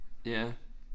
Ja